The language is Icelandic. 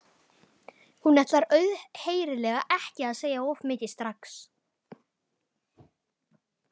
Hún ætlar auðheyrilega ekki að segja of mikið strax.